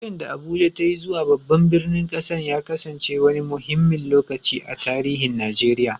Sauyin da Abuja ta yi zuwa babban birnin ƙasar ya kasance wani muhimmin lokaci a tarihin Najeriya.